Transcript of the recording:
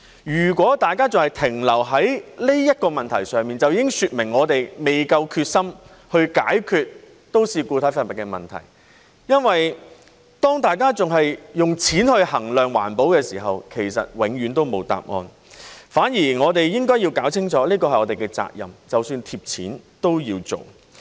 如果大家還是停留在這個問題上，便已經說明我們未夠決心去解決都市固體廢物的問題，因為當大家還是用錢衡量環保的時候，其實永遠都沒有答案，反而我們應該要搞清楚這是我們的責任，即使貼錢都要做。